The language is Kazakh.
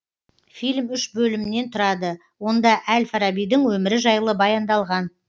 фильм үш бөлімнен тұрады онда әл фарабидің өмірі жайлы баяндалған